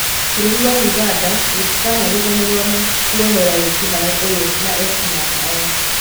"Bũrũri wa Ũganda rĩtikanariganirwo na kuohera wĩkinaĩ ũyũ na ekinaĩ aya.